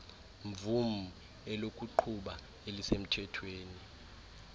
mvum elokuqhuba elisemthethweni